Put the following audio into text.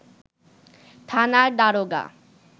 থানার দারোগা